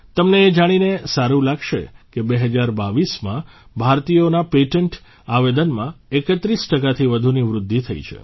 તમને એ જાણીને સારું લાગશે કે ૨૦૨૨માં ભારતીયોના પેટન્ટ આવેદનમાં ૩૧ ટકાથી વધુની વૃદ્ધિ થઇ છે